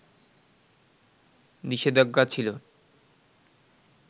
নিষেধাজ্ঞা ছিল